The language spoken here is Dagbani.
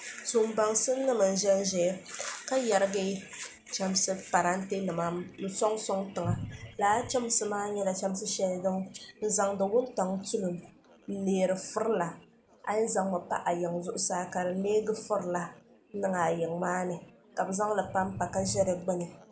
tuun baŋsim nim n ʒɛnʒɛya ka yɛrigi chɛmsi parantɛ nima n soŋ soŋ tiŋa laa chɛmsi maa nyɛla chɛmsi shɛli din zaŋdi wuntaŋ tulim n neeri furila a yɛn zaŋmi pa a yiŋ zuɣusaa ka di neegi furila n niŋ a yiŋ maa ni ka bi zaŋli panpa ka ʒɛ dikpuni